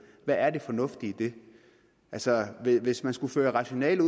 hvad er det fornuftige i det altså hvis man skulle føre rationalet